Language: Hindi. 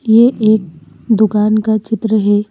ये एक दुकान का चित्र हैं।